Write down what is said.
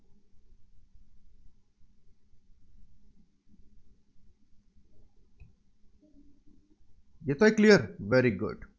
येतोय Clear Very Good